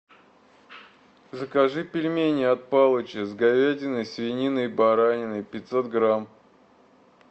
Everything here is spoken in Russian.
закажи пельмени от палыча с говядиной свининой бараниной пятьсот грамм